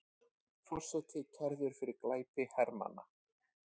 Forseti kærður fyrir glæpi hermanna